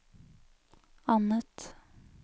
annet